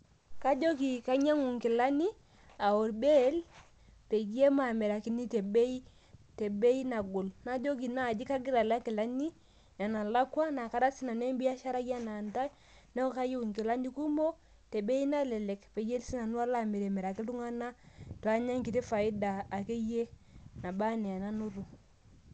Kajoki kainyangu inkilani, aa olbail pee maamirakini tebei nagol. Najoki kagira aya inkilani enelakwa nara sii nanu embiasharai anaa intae, neaku kayieu inkilani kumok tebei nalelek peyie alo sii nanu amiraki iltunganak peyie anya faida anaa enanoto.